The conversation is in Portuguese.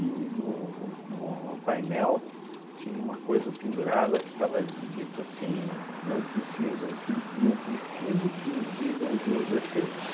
no no no no painel tinha uma coisa pendurada que estava dito assim, não precisam que não preciso que me digam os meus defeitos.